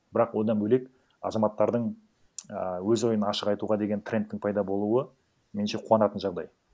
бірақ одан бөлек азаматтардың ііі өз ойын ашық айтуға деген трендтің пайда болуы меніңше қуанатын жағдай